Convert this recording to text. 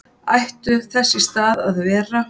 ættu þess í stað að vera